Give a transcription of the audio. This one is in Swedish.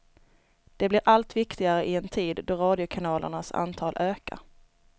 De blir allt viktigare i en tid då radiokanalernas antal ökar.